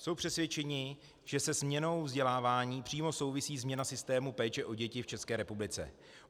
Jsou přesvědčeni, že se změnou vzdělávání přímo souvisí změna systému péče o děti v České republice.